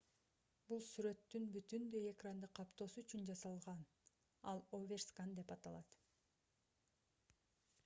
бул сүрөттүн бүтүндөй экранды каптоосу үчүн жасалган ал overscan деп аталат